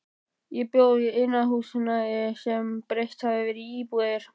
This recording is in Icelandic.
Ég bjó í iðnaðarhúsnæði sem breytt hafði verið í íbúðir.